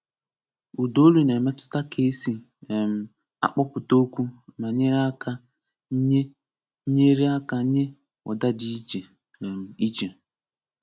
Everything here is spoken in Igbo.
Ụdaolu na-emetụta ka esi um akpọpụta okwu ma nyere aka nye nyere aka nye ụda dị iche um iche